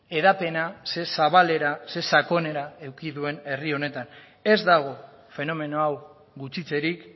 hedapena zer zabalera zer sakonera eduki duen herri honetan ez dago fenomeno hau gutxitzerik